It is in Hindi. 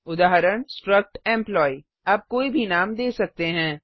उदाहरण स्ट्रक्ट एम्प्लॉयी आप कोई भी नाम दे सकते हैं